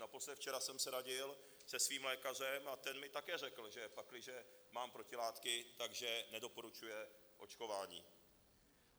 Naposled včera jsem se radil se svým lékařem a ten mi také řekl, že pakliže mám protilátky, tak že nedoporučuje očkování.